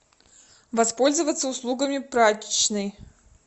воспользоваться услугами прачечной